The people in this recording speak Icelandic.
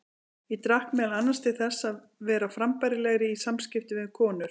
Ég drakk meðal annars til þess að vera frambærilegri í samskiptum við konur.